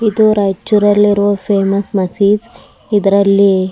ಇದು ರೈಚೂರ್ ಅಲ್ಲಿರೋ ಫೇಮಸ್ ಮಸೀದ್ ಇದ್ರಲ್ಲಿ --